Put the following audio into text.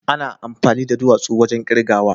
ana amfani da duwatsu wajen kirgawa.